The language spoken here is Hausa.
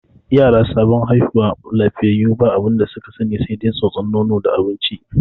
Yara sabon haihuwa lafiyayyu ba abinda su ka sani sai dai tsotson nono da barci.